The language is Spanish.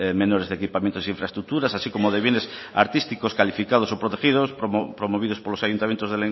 menores de equipamientos e infraestructuras así como de bienes artísticos calificados o protegidos promovidos por los ayuntamientos